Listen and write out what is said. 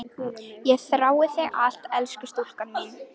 Ég þrái þig alt af elskulega stúlkan mín.